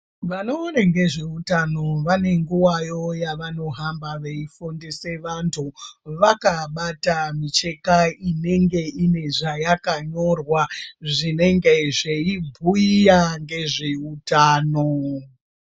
Vanoone ngezveutano vanenguvayo yavanohamba veyifundisa vandu vakabata micheka inenge ine zvayakanyorwa zvinenge zveyibhuyira ngezveutano.